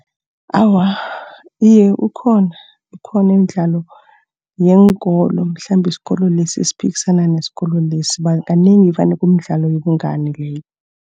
Awa, iye ukhona, ikhona imidlalo yeenkolo. Mhlambe isikolo lesi siphikisana nesikolo lesi. Kanengi vane kumidlalo yobungani leyo.